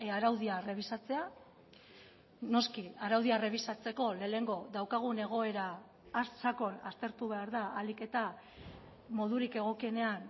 araudia errebisatzea noski araudia errebisatzeko lehenengo daukagun egoera sakon aztertu behar da ahalik eta modurik egokienean